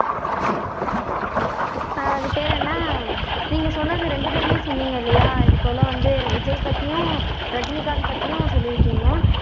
ஆஹ் அது பேரு என்ன நீங்க சொன்னது ரெண்டு பேருமே சொன்னீங்க இல்லையா இது போல வந்து விஜய் பத்தியும் ரஜினிகாந்த் பத்தியும் சொல்லி இருக்கீங்க